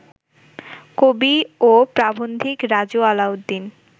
কবি ও প্রাবন্ধিক রাজু আলাউদ্দিন